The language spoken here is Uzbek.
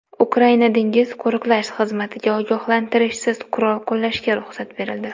Ukraina dengiz qo‘riqlash xizmatiga ogohlantirishsiz qurol qo‘llashga ruxsat berildi.